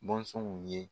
Bɔnsɔnw ye